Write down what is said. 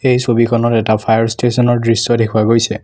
এই ছবিখনত এটা ফায়াৰ ষ্টেচন ৰ দৃশ্য দেখুওৱা গৈছে।